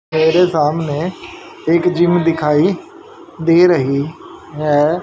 मेरे सामने एक जिम दिखाई दे रही है।